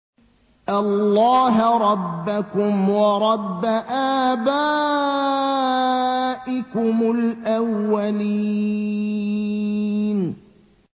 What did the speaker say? اللَّهَ رَبَّكُمْ وَرَبَّ آبَائِكُمُ الْأَوَّلِينَ